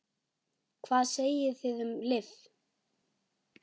Hvað segið þið um lyf?